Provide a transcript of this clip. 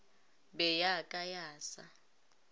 be ya ka ya sa